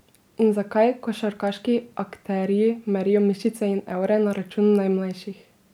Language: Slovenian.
In zakaj košarkarski akterji merijo mišice in evre na račun najmlajših?